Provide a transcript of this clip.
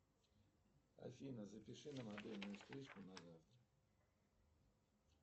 афина запиши на модельную стрижку на завтра